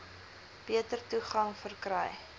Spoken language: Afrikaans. beter toegang verkry